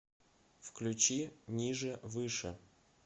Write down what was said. включи ниже выше